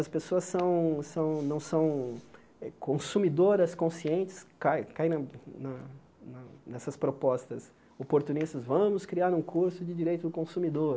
As pessoas são são não são consumidoras conscientes, caem caem na na na nessas propostas oportunistas, vamos criar um curso de direito do consumidor.